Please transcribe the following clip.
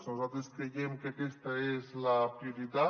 nosaltres creiem que aquesta és la prioritat